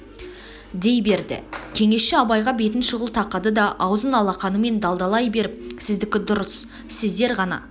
дей берді кеңесші абайға бетін шұғыл тақады да аузын алақанымен далдалай беріп сіздікі дұрыс сіздер ғана